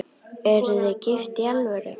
Eruð þið gift í alvöru?